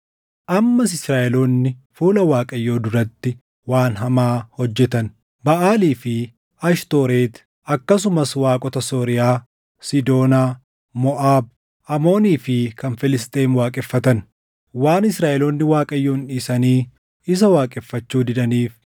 Ammas Israaʼeloonni fuula Waaqayyoo duratti waan hamaa hojjetan. Baʼaalii fi Ashtooreti akkasumas waaqota Sooriyaa, Siidoonaa, Moʼaab, Amoonii fi kan Filisxeem waaqeffatan. Waan Israaʼeloonni Waaqayyoon dhiisanii isa waaqeffachuu didaniif,